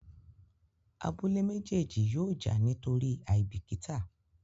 Abúlé méjèjì yóò já nítorí aibikita.